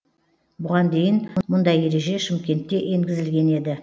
бұған дейін мұндай ереже шымкентте енгізілген еді